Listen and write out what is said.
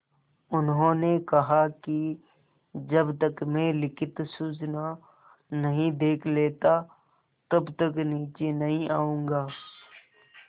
उन्होंने कहा कि जब तक मैं लिखित सूचना नहीं देख लेता तब तक नीचे नहीं आऊँगा